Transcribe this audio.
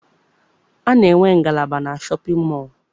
A na-enwe ngalaba na shọpịn mọọ.